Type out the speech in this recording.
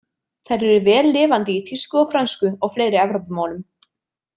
Þær eru vel lifandi í þýsku og frönsku og fleiri Evrópumálum.